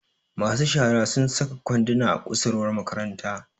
masu shara sun saka kwanduna a kusurwar makaranta